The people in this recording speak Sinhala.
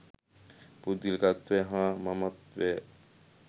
පුද්ගලිකත්වය හා මමත්වය